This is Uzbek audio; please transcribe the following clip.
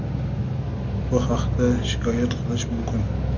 bu haqda shikoyat qilish mumkin.